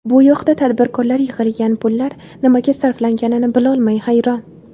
Bu yoqda tadbirkorlar yig‘ilgan pullar nimaga sarflanganini bilolmay hayron!